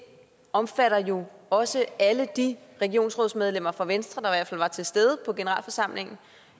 det omfatter jo også alle de regionsrådsmedlemmer fra venstre der i hvert fald var til stede på generalforsamlingen